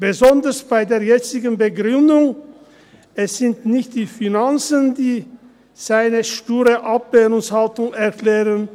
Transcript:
Besonders bei der jetzigen Begründung sind es nicht die Finanzen, die seine sture Ablehnungshaltung erklären.